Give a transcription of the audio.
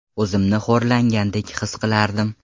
O‘zimni xo‘rlangandek his qilardim.